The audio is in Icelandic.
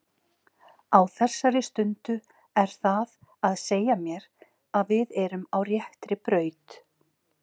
Á þessari stundu er það að segja mér að við erum á réttri braut.